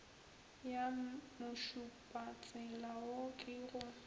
ya mošupatsela wo ke go